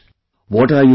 What are you doing